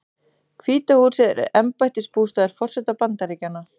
Hvíta húsið er embættisbústaður forseta Bandaríkjanna.